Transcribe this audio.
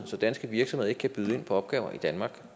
så danske virksomheder ikke kan byde ind på opgaver i danmark